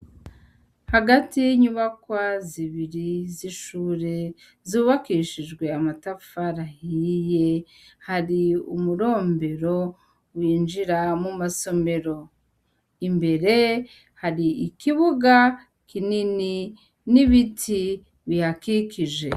Hagati yinyubakwa zibiri z'ishure zubakishijwe amatafari ahiye, hari umurombero winjira mumasomero, imbere hari ikibuga kinini n'ibiti bihakikije.